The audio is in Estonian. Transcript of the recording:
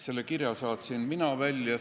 Selle kirja saatsin mina välja.